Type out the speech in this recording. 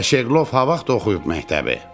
Bə Şeqlov ha vaxt oxuyub məktəbi?